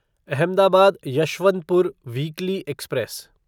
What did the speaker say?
Ahmedabad Yesvantpur weekly express